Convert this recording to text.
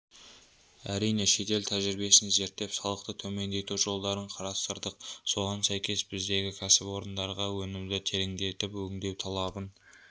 әрине шетел тәжрибесін зерттеп салықты төмендету жолдарын қарастырдық соған сәйкес біздегі кәсіпорындарға өнімді тереңдетіп өңдеу талабын